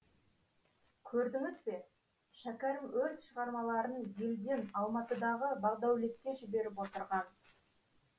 көрдіңіз бе шәкәрім өз шығармаларын елден алматыдағы бағдәулетке жіберіп отырған